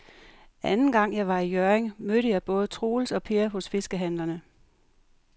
Anden gang jeg var i Hjørring, mødte jeg både Troels og Per hos fiskehandlerne.